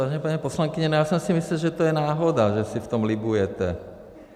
Vážená paní poslankyně, já jsem si myslel, že to je náhoda, že si v tom libujete.